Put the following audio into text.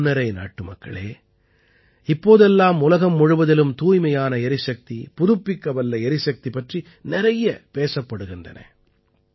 என் மனம்நிறை நாட்டுமக்களே இப்போதெல்லாம் உலகம் முழுவதிலும் தூய்மையான எரிசக்தி புதுப்பிக்கவல்ல எரிசக்தி பற்றி நிறைய பேசப்படுகின்றன